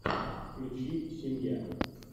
включи семья